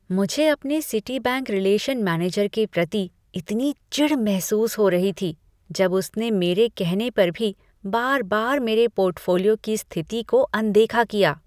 मुझे अपने Citibank relation manager के प्रति इतनी चिढ़ महसूस हो रही थी, जब उसने मेरे कहने पर भी बार बार मेरे पोर्टफोलियो की स्थिति को अनदेखा किया।